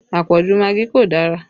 Àpọ̀jù magí kò dára